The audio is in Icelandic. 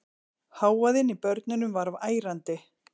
Hávaðinn í börnunum var ærandi.